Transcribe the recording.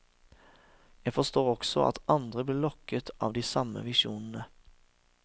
Jeg forstår også at andre blir lokket av de samme visjonene.